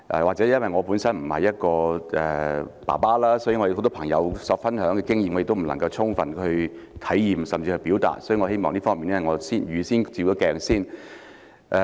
或許因為我本身並不是一名父親，很多朋友分享的經驗，我也不能夠充分體驗甚或表達，所以我想預先就這方面照一照鏡子。